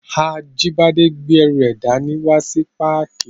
Ajíbádé gbé ẹrù rẹ̀ dá ní wá sí páàkì